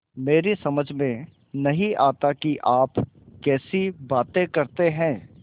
मेरी समझ में नहीं आता कि आप कैसी बातें करते हैं